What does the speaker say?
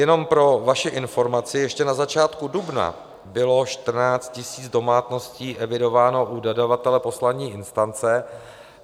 Jenom pro vaši informaci, ještě na začátku dubna bylo 14 000 domácností evidováno u dodavatele poslední instance.